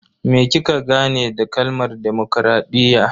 Me kika gane da kalmar demokradiyya?